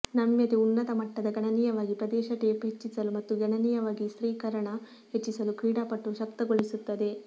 ನಮ್ಯತೆ ಉನ್ನತ ಮಟ್ಟದ ಗಣನೀಯವಾಗಿ ಪ್ರದೇಶ ಟೇಪ್ ಹೆಚ್ಚಿಸಲು ಮತ್ತು ಗಣನೀಯವಾಗಿ ಸ್ಥಿರೀಕರಣ ಹೆಚ್ಚಿಸಲು ಕ್ರೀಡಾಪಟು ಶಕ್ತಗೊಳಿಸುತ್ತದೆ